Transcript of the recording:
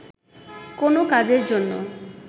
কোনো কাজের জন্য